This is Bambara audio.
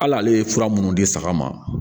Hali ale ye fura minnu di saga ma